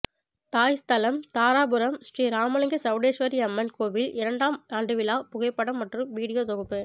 தாய் ஸ்தலம் தாராபுரம் ஸ்ரீ இராமலிங்க சௌடேஸ்வரி அம்மன் கோவில் இரண்டாம் ஆண்டு விழா புகைப்படம் மற்றும் வீடியோ தொகுப்பு